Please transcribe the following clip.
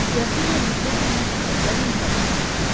Grafinya diqqətlə məktuba və möhrə baxdı.